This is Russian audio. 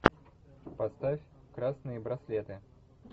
поставь красные браслеты